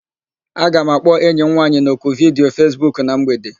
Aga m akpọ enyi m nwaanyị n'oku vidiyo Fesbuku na mgbede.